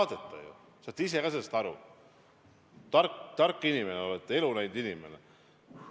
No ei lõpetata ju, te saate ise ka sellest aru, te olete tark inimene, elu näinud inimene!